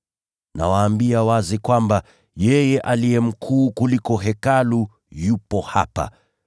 Nawaambia wazi kwamba, yeye aliye mkuu kuliko Hekalu yupo hapa.